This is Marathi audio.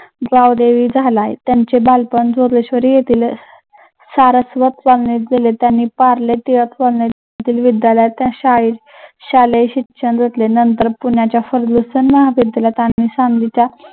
झालाय. त्यांचे बालपण जोगेश्वरी येथील शालेय शिक्षण घेतले नंतर पुण्याच्या फर्ग्युसन महाविद्यालयात